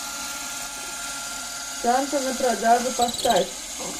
санта на продажу поставь